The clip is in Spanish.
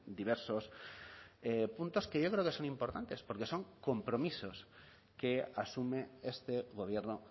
diversos puntos que yo creo que son importantes porque son compromisos que asume este gobierno